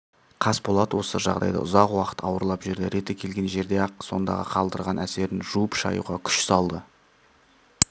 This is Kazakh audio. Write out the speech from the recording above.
қасболат осы жағдайды ұзақ уақыт ауырлап жүрді реті келген жерде-ақ сондағы қалдырған әсерін жуып-шаюға күш салды